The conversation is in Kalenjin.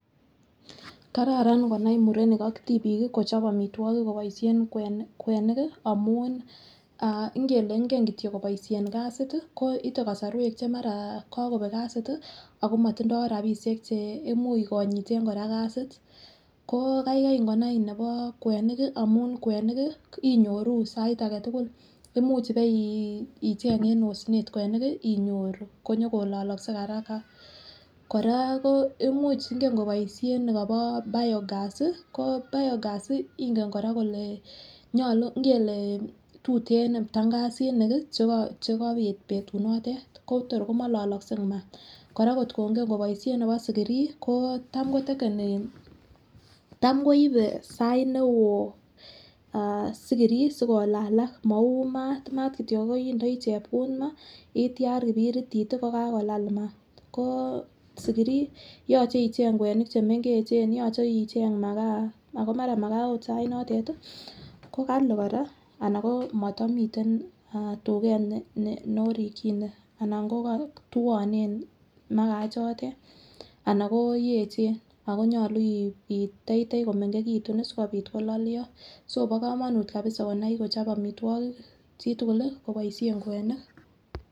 kararan konaai murenik ak tibiik iih kochob amitwogik koboishen kwenik iih amuun ingele ingen kityo koboishen kasiit iih, ko mara ite kasorweek che mara kagobeek kasiit iih ago motndo rabishek cheimuch konyiteen koraa kasiit, koo kaigai ingonai nebo kweniik iih amun kweniik iih inyoruu sait agetugul, imuuch baicheng en osneet kweniik boinyoru konyagololoske haraka, koraa ko imuuch ingen koboishen negobo biogas, koo biogas ingen koraa kolee nyolu ingelee tuteen kora ptangasinik iih chegabiit betut noteet kotoor komololoske maat, koraa kot komongen koboishe nebo sigirii koo taam kotekeni, taam koibe saiit neoo sigirii sigolalak mauu maat, maat kityo indooi chepkuut maah iityaar kibiritit kogagolalal maat, koo sigirii yoche icheng kwenik chemengechen yoche icheng magaa ooh maraa magaa oot sait notet iih kogali koraa anan koomotomiten tugeet norikyine anan twoonen magaa ichotet anan yecheen ago nyolu iteitei komengegitun sigobiit kololyoo, so bo komonuut konai kochob amitwogik chitugul iih koboishen kweniik.